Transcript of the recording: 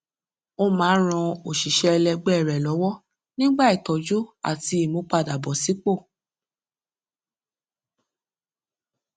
ó máa ń ràn òṣìṣé ẹlẹgbẹ rẹ lọwọ nígbà ìtọjú àti ìmúpadàbọsípò